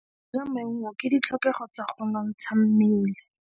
Go ja maungo ke ditlhokegô tsa go nontsha mmele.